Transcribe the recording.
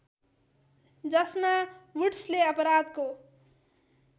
जसमा वुड्सले अपराधको